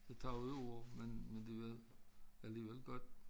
Det tager jo år men men det var alligevel godt